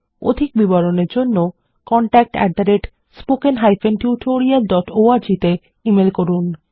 অধিক বিবরণের জন্য contactspoken tutorialorg তে ইমেল করুন